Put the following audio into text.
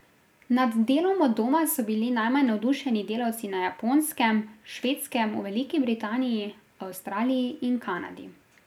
Nad delom od doma so bili najmanj navdušeni delavci na Japonskem, Švedskem, v Veliki Britaniji, Avstraliji in Kanadi.